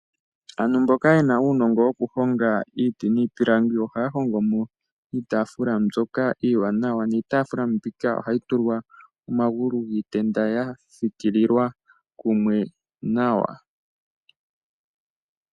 Aantu mboka yena uunongo wokuhonga iiti niipilangi ohaya hongo mo iitaafula mbyoka iiwanawa niitaafula mbika ohayi fikililwa omagulu giitenda yafikililwa kumwe nawa.